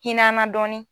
Hinn'an na dɔɔnin